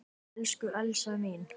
Elsku Elsa mín.